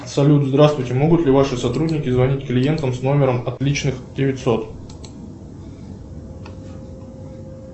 салют здравствуйте могут ли ваши сотрудники звонить клиентам с номером отличных девятьсот